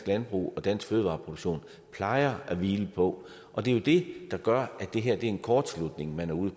landbrug og dansk fødevareproduktion plejer at hvile på og det er det der gør at det er en kortslutning man er ude